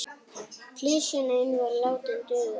Klisjan ein var látin duga.